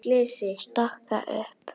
Stokka upp.